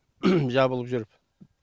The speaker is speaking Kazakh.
жабылып жүріп